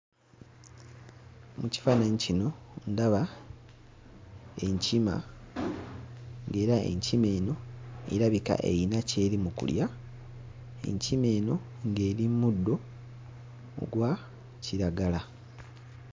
Mu kifaananyi kino ndaba enkima ng'era enkima eno erabika eyina ky'eri mu kulya enkima eno ng'eri mmuddo ogwa kiragala.